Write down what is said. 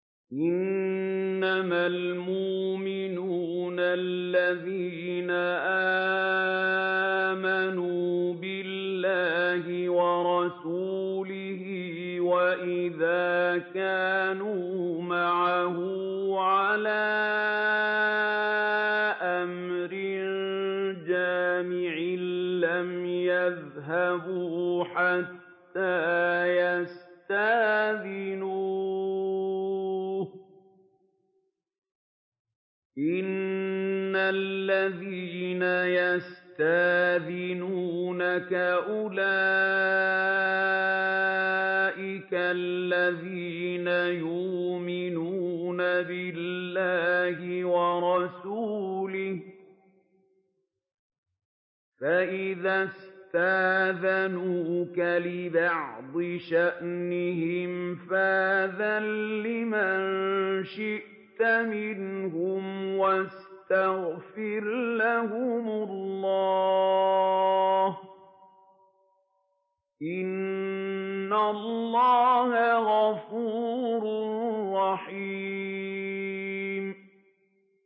إِنَّمَا الْمُؤْمِنُونَ الَّذِينَ آمَنُوا بِاللَّهِ وَرَسُولِهِ وَإِذَا كَانُوا مَعَهُ عَلَىٰ أَمْرٍ جَامِعٍ لَّمْ يَذْهَبُوا حَتَّىٰ يَسْتَأْذِنُوهُ ۚ إِنَّ الَّذِينَ يَسْتَأْذِنُونَكَ أُولَٰئِكَ الَّذِينَ يُؤْمِنُونَ بِاللَّهِ وَرَسُولِهِ ۚ فَإِذَا اسْتَأْذَنُوكَ لِبَعْضِ شَأْنِهِمْ فَأْذَن لِّمَن شِئْتَ مِنْهُمْ وَاسْتَغْفِرْ لَهُمُ اللَّهَ ۚ إِنَّ اللَّهَ غَفُورٌ رَّحِيمٌ